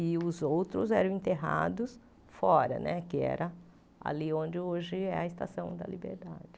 E os outros eram enterrados fora né, que era ali onde hoje é a Estação da Liberdade.